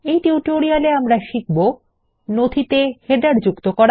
এই টিউটোরিয়াল এ আমাদের শিখব160 নথিতে শিরোলেখ যুক্ত করা